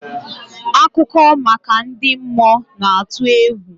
Akụkọ maka ndị mmụọ na-atụ egwu.